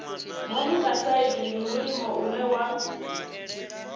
monokosaidi ndi mulimo une wa